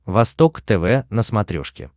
восток тв на смотрешке